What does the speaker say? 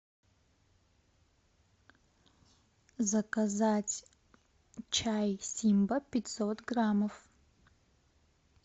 заказать чай симба пятьсот граммов